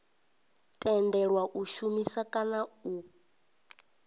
tendelwa u shumisa kana u